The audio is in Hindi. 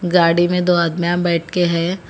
गाड़ी में दो आदमियां बैठके हैं।